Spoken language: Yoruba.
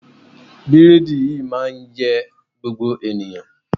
Bírádì yìí máa ń yẹ gbogbo ènìyàn